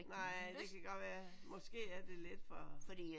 Nej det kan godt være. Måske er det lidt for